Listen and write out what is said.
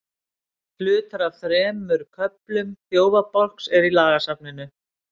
hlutar af þremur köflum þjófabálks eru í lagasafninu